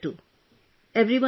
They got tested later too